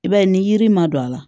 I b'a ye ni yiri ma don a la